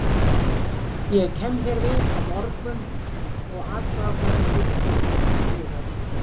Ég kem hér við á morgun og athuga hvernig ykkur miðar.